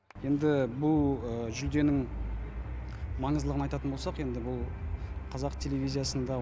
енді бұл жүлденің маңыздылығын айтатын болсақ енді бұл қазақ телевизиясында